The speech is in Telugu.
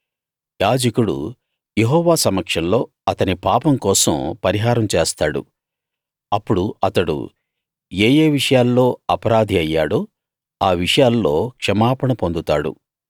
యాజకుడు యెహోవా సమక్షంలో అతని పాపం కోసం పరిహారం చేస్తాడు అప్పుడు అతడు ఏ ఏ విషయాల్లో అపరాధి అయ్యాడో ఆ విషయాల్లో క్షమాపణ పొందుతాడు